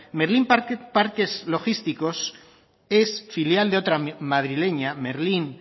merlin parques logísticos es filial de otra madrileña merlin